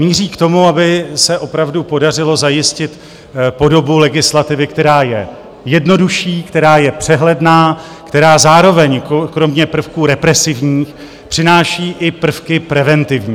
Míří k tomu, aby se opravdu podařilo zajistit podobu legislativy, která je jednodušší, která je přehledná, která zároveň kromě prvků represivních přináší i prvky preventivní.